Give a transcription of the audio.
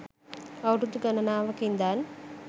අවුරුදු ගණනාවක ඉඳන්